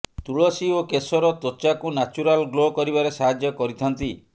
ତୁଳସୀ ଓ କେସର ତ୍ୱଚାକୁ ନ୍ୟାଚୁରାଲ ଗ୍ଲୋ କରିବାରେ ସାହାଯ୍ୟ କରିଥାନ୍ତି